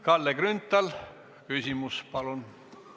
Kalle Grünthal, küsimus palun!